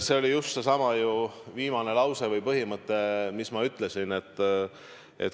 See oli just seesama viimane lause või põhimõte, mis ma ütlesin.